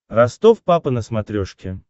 ростов папа на смотрешке